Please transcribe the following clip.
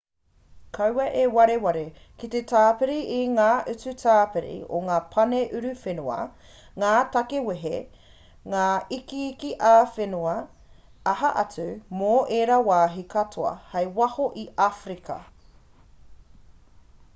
kaua e wareware ki te tāpiri i ngā utu tāpiri o ngā pane uruwhenua ngā tāke wehe ngā ikiiki ā-whenua aha atu mō ērā wāhi katoa kei waho i āwherika